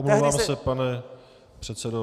Omlouvám se, pane předsedo.